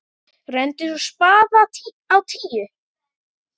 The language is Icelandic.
Renndi svo spaða á tíuna.